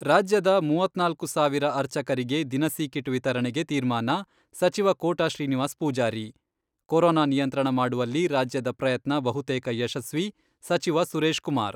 ರಾಜ್ಯದ ಮೂವತ್ನಾಲ್ಕು ಸಾವಿರ ಅರ್ಚಕರಿಗೆ ದಿನಸಿ ಕಿಟ್ ವಿತರಣೆಗೆ ತೀರ್ಮಾನ, ಸಚಿವ ಕೋಟ ಶ್ರೀನಿವಾಸ ಪೂಜಾರಿ, ಕೊರೊನಾ ನಿಯಂತ್ರಣ ಮಾಡುವಲ್ಲಿ ರಾಜ್ಯದ ಪ್ರಯತ್ನ ಬಹುತೇಕ ಯಶಸ್ವಿ, ಸಚಿವ ಸುರೇಶ್ ಕುಮಾರ್.